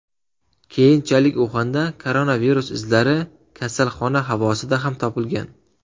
Keyinchalik Uxanda koronavirus izlari kasalxona havosida ham topilgan .